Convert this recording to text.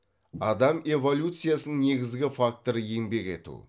адам эволюциясының негізгі факторы еңбек ету